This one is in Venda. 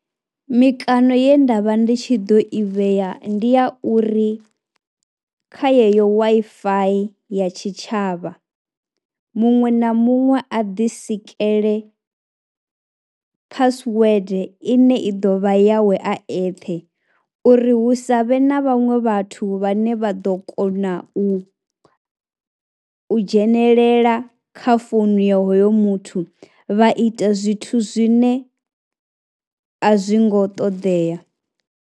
Mikano ye nda vha ndi tshi ḓo i vhea ndi ya uri kha yeneyo Wi-Fi ya tshitshavha muṅwe na muṅwe a ḓisikele password ine i ḓo vha yawe a eṱhe uri hu sa vhe na vhaṅwe vhathu vhane vha ḓo kona u u dzhenelela kha founu ya hoyo muthu vha ita zwithu zwine a zwi ngo ṱoḓea.